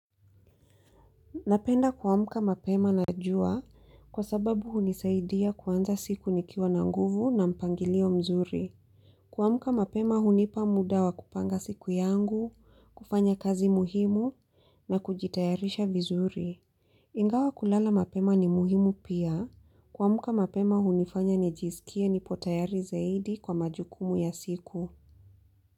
Napenda kuamka mapema na jua kwa sababu hunisaidia kuanza siku nikiwa na nguvu na mpangilio mzuri. Kwamka mapema hunipa muda wa kupanga siku yangu, kufanya kazi muhimu na kujitayarisha vizuri. Ingawa kulala mapema ni muhimu pia kuamka mapema hunifanya nijisikie nipo tayari zaidi kwa majukumu ya siku.